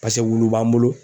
Paseke wulu b'an bolo